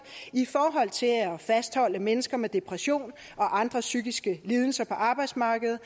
i forhold til at fastholde mennesker med depression og andre psykiske lidelser på arbejdsmarkedet